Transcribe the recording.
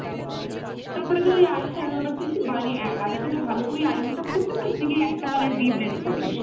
তারপরে ধর এই eye-shadow ব্যাপার তুই কি eye-shadow ভালো করে eye makeup করতে পারিস? নাকি একটা colour দিয়েই blend করিস?